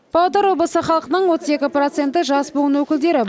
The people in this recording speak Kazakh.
павлодар облысы халқының отыз екі проценті жас буын өкілдері